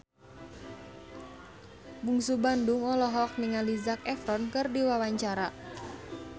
Bungsu Bandung olohok ningali Zac Efron keur diwawancara